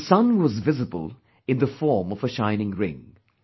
The sun was visible in the form of a shining ring